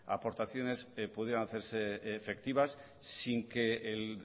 aportaciones pudieran hacerse efectivas sin que el